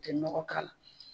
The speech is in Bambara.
tɛ nɔgɔ k'a la.